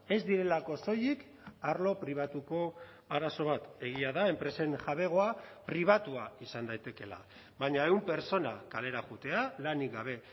ez direlako soilik arlo pribatuko arazo bat egia da enpresen jabegoa pribatua izan daitekeela baina ehun pertsona kalera joatea lanik gabe